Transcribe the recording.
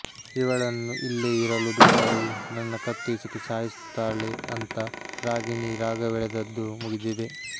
ಇವಳನ್ನು ಇಲ್ಲೇ ಇರಲು ಬಿಟ್ಟರೆ ನನ್ನ ಕತ್ತು ಹಿಸುಕಿ ಸಾಯಿಸುತ್ತಾಳೆ ಅಂತ ರಾಗಿಣಿ ರಾಗವೆಳೆದದ್ದೂ ಮುಗಿದಿದೆ